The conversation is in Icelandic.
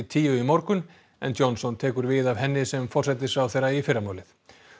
tíu í morgun en Johnson tekur við af henni sem forsætisráðherra í fyrramálið